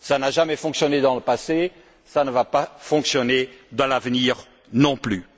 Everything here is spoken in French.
Cela n'a jamais fonctionné dans le passé, et cela ne fonctionnera pas à l'avenir non plus.